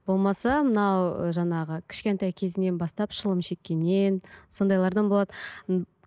болмаса мынау жаңағы кішкентай кезінен бастап шылым шеккеннен сондайлардан болады